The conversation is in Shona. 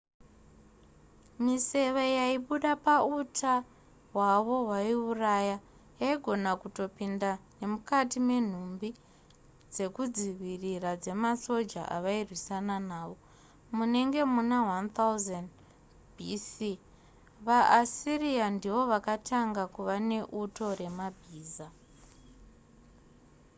miseve yaibuda pauta hwavo hwaiuraya yaigona kutopinda nemukati menhumbi dzekuzvidzivirira dzemasoja avairwisana nawo munenge muna 1000 b.c. vaassyria ndivo vakatanga kuva neuto remabhiza